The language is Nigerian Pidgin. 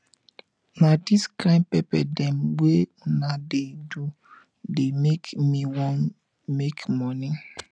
na dis kain pepper dem wey una dey do dey make me wan make moni